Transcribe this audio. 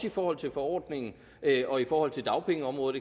i forhold til forordningen og i forhold til dagpengeområdet